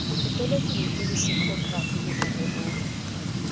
botoloking ho leksikhokrafi le mareong